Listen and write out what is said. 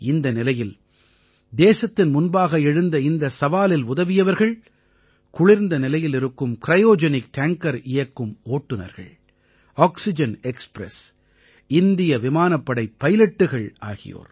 இந்த நிலையில் தேசத்தின் முன்பாக எழுந்த இந்த சவாலில் உதவியவர்கள் குளிர்ந்த நிலையில் இருக்கும் கிரயோஜெனிக் டாங்கர் இயக்கும் ஓட்டுநர்கள் ஆக்சிஜன் எக்ஸ்பிரஸ் இந்திய விமானப்படை பைலட்டுகள் ஆகியோர்